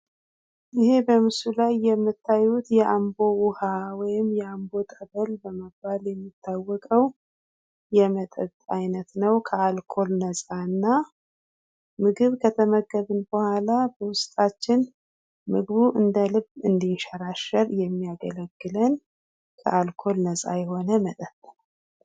ይሄ በምስሉ ላይ የምታዩት የአምቦ ውሃ ወይም የአምቦ ጠበል በመባል የሚታወቀው የመጠጥ አይነት ነው። ከአልኮል ነጻና ምግብ ከተመገብን በኋላ በውስጣችን ምግቡ እንደልብ እንድንሸራሸር የሚያደርግልን ከአልኮል ነጻ የሆነ መጠጥ ነው።